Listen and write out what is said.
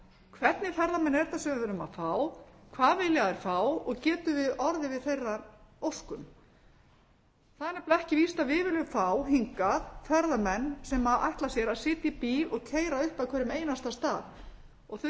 hvernig ferðamenn eru það sem við erum að fá hvað vilja þeir fá og getum við orðið við þeirra óskum það er nefnilega ekki víst að við viljum fá hingað ferðamenn sem ætla sér að sitja úti í bíl og keyra upp að hverjum einasta stað og þurfa